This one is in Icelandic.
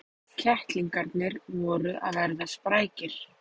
Kettlingarnir voru að verða sprækir.